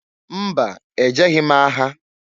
Mba! E jeghi m agha.